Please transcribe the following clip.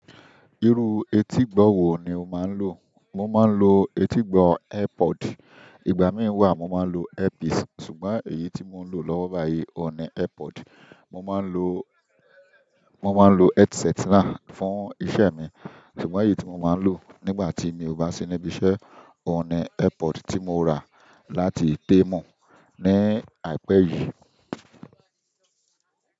Irú etígbọ̀ wò ni o máa ń lò? Mo máa ń ló etí gbọ ear pod. Ìgbà mìíràn wà mo máa ń lo earpiece, ṣùgbọ́n èyí tí mo ń lò lọ́wọ́ báyìí òun ni Airpod. Mo máa ń lo, mo máa ń lo headset náà fún iṣẹ́ mi ṣùgbọ́n èyí tí mo máa lò nígbà tí mi ò bá sí níbí iṣẹ́, òun ni Airpod tí mo rà láti Temu ní àìpẹ́ yìí.